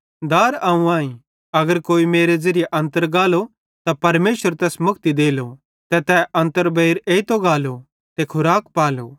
दार अवं आईं अगर कोई मेरे ज़िरिये अन्तर गालो त परमेशर तैस मुक्ति देलो ते तै अन्तर बेइर एइतो गालो ते खूराक पालो